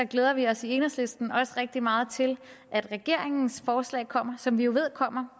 glæder vi os i enhedslisten også rigtig meget til at regeringens forslag kommer som vi jo ved kommer